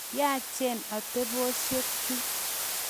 Yaachen ateposyek chu.